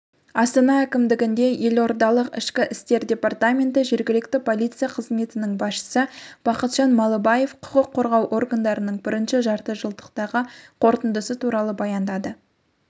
астанаәкімдігінде елордалық ішкі істер департаменті жергілікті полиция қызметінің басшысы бақытжан малыбаев құқық қорғау органдарының бірінші жарты жылдықтағы қортындысы туралы баяндады